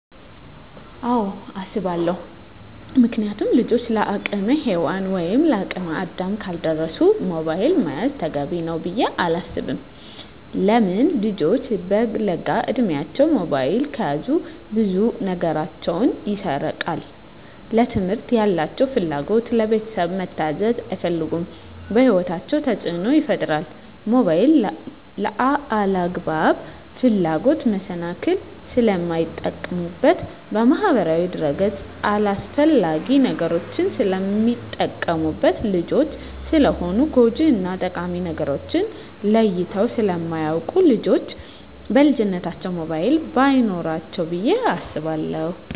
አወ አሰባለው ምክንያቱም ልጆች ለአቅመ ሄዋን ወይም ለአቅመ አዳም ካልደረሱ ሞባይል መያዝ ተገቢ ነው ብዬ አላስብም። ለምን ልጆች በለጋ እድማቸው ሞባይል ከያዙ ብዙ ነገራቸው ይሰረቃል ለትምህርት ያላቸው ፍላጎት, ለቤተሰብ መታዘዝ አይፈልጉም በህይወታቸው ተፅዕኖ ይፈጥራል ሞባይልን ለአላግባብ ፍላጎት መሰናክል ስለሚጠቀሙበት በማህበራዊ ድረ-ገፅ አላስፈላጊ ነገሮች ስለሚጠቀሙበት። ልጆች ስለሆኑ ጎጅ እና ጠቃሚ ነገርን ለይተው ስለማያወቁ ልጆች በልጅነታቸው ሞባይል በይኖራቸው ብዬ አስባለሁ።